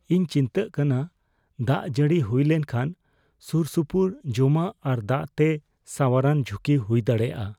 ᱤᱧ ᱪᱤᱱᱛᱟᱹᱜ ᱠᱟᱱᱟ ᱫᱟᱜ ᱡᱟᱹᱲᱤ ᱦᱩᱭ ᱞᱮᱱᱠᱷᱟᱱ ᱥᱩᱨᱼᱥᱩᱯᱩᱨ ᱡᱚᱢᱟᱜ ᱟᱨ ᱫᱟᱜ ᱛᱮ ᱥᱟᱶᱟᱨᱟᱱ ᱡᱷᱩᱠᱤ ᱦᱩᱭ ᱫᱟᱲᱮᱭᱟᱜᱼᱟ ᱾